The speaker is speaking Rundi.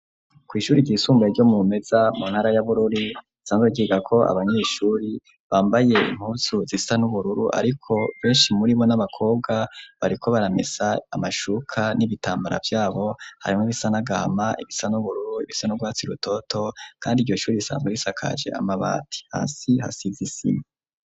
Kw' ishuri ryisumbaye ryo murumeza, mu ntara ya bururi, ryiga ko abanyeshuri bambaye impuzu zisa n'ubururu, ariko benshi muribo n'abakobwa bariko baramesa amashuka ,n'ibitambara vyabo harimwo ibisa n'agahama, ibisa n'ubururu, ibisa n'urwatsi rutoto ,kandi iryo shuri risanzwe risakaje amabati hasi hasiz' isima